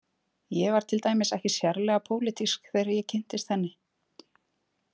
Ég var til dæmis ekki sérlega pólitísk þegar ég kynntist henni.